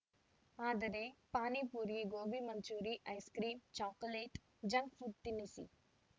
ಆದರೆ panipuri gobi manchurian ice cream chocolate junk food ತಿನ್ನಿಸಿ